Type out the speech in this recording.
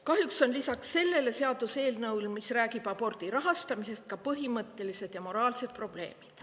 Kahjuks abordiga lisaks rahastamisele, millest see eelnõu räägib, ka põhimõttelised ja moraalsed probleemid.